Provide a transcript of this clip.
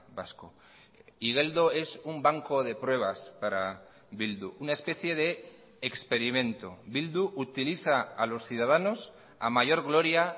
vasco igeldo es un banco de pruebas para bildu una especie de experimento bildu utiliza a los ciudadanos a mayor gloria